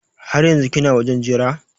Har yanzun kina wajen Jira?